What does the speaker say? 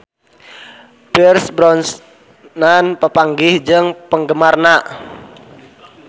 Pierce Brosnan papanggih jeung penggemarna